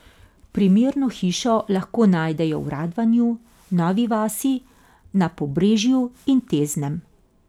Primerno hišo lahko najdejo v Radvanju, Novi vasi, na Pobrežju in Teznem.